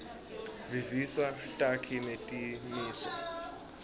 visisa takhi netimiso